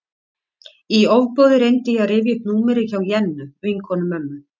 Í ofboði reyndi ég að rifja upp númerið hjá Jennu, vinkonu mömmu.